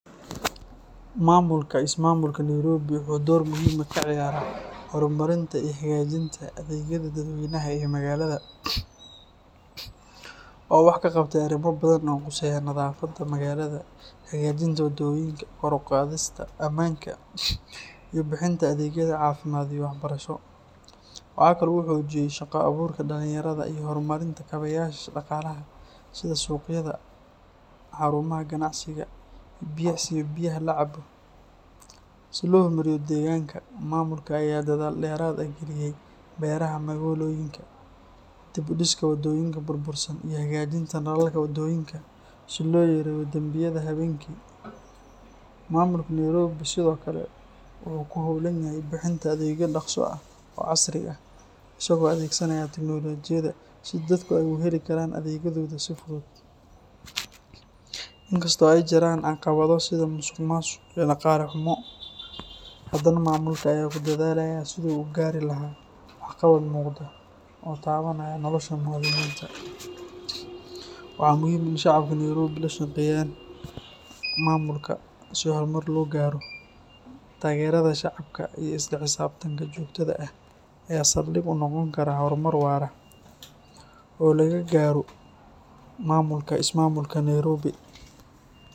Maamulka ismaamulka Nairobi wuxuu door muhiim ah ka ciyaaraa horumarinta iyo hagaajinta adeegyada dadweynaha ee magaalada. Waxaa uu wax ka qabtay arrimo badan oo quseeya nadaafadda magaalada, hagaajinta wadooyinka, kor u qaadista ammaanka, iyo bixinta adeegyada caafimaad iyo waxbarasho. Waxaa kale oo uu xoojiyay shaqo abuurka dhallinyarada iyo horumarinta kaabeyaasha dhaqaalaha sida suuqyada, xarumaha ganacsiga, iyo biyaha la cabo. Si loo horumariyo deegaanka, maamulka ayaa dadaal dheeraad ah geliyay beeraha magaalooyinka, dib u dhiska wadooyinka burbursan, iyo hagaajinta nalalka wadooyinka si loo yareeyo dembiyada habeenkii. Maamulka Nairobi sidoo kale wuxuu ku hawlan yahay bixinta adeegyo dhakhso ah oo casri ah, isagoo adeegsanaya tignoolajiyada si dadku ay ugu heli karaan adeegyadooda si fudud. Inkasta oo ay jiraan caqabado sida musuqmaasuq iyo dhaqaale xumo, haddana maamulka ayaa ku dadaalaya sidii uu u gaari lahaa waxqabad muuqda oo taabanaya nolosha muwaadiniinta. Waxaa muhiim ah in shacabka Nairobi ay la shaqeeyaan maamulka si horumar loo gaaro. Taageerada shacabka iyo isla xisaabtanka joogtada ah ayaa saldhig u noqon kara horumar waara oo laga gaaro maamulka ismaamulka Nairobi.